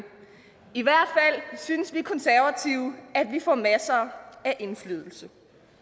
i synes vi konservative at vi får masser af indflydelse